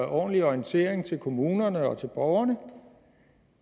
ordentlig orientering til kommunerne og borgerne